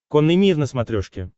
конный мир на смотрешке